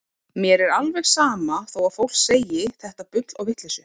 Mér er alveg sama þó að fólk segi þetta bull og vitleysu.